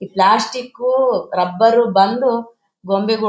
ಈ plastic rubber ಬಂದು ಬೊಂಬೆ --